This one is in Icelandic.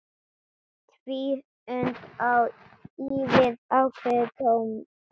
Tvíund á við ákveðið tónbil.